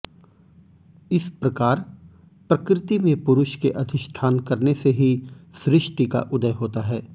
इस प्रकार प्रकृति में पुरुष के अधिष्ठान करने से ही सृष्टि का उदय होता है